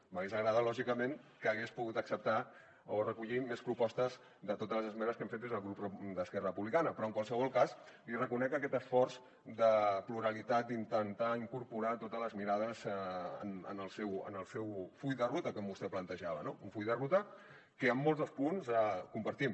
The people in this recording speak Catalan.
m’hauria agradat lògicament que hagués pogut acceptar o recollir més propostes de totes les esmenes que hem fet des del grup d’esquerra republicana però en qualsevol cas li reconec aquest esforç de pluralitat d’intentar incorporar totes les mirades en el seu full de ruta com vostè plantejava no un full de ruta que en molts dels punts el compartim